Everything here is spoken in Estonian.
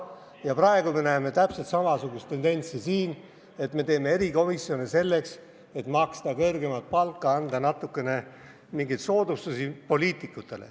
Ja praegu me näeme täpselt samasugust tendentsi: me teeme erikomisjoni selleks, et maksta kõrgemat palka ja anda poliitikutele natukene mingeid soodustusi.